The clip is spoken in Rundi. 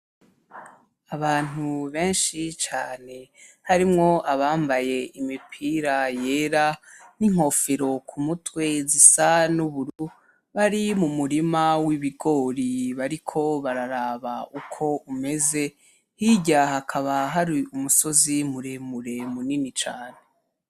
Abantu benshi cane , harimwo abambaye imipira yera , n'inkofero k'umutwe zisa n'ubururu bari mu murima w'ibigori bariko bararaba uko umeze hirya hakaba hari umusozi muremure munini cane.